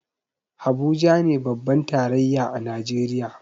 Habuja ne birnin tarayya a najeriya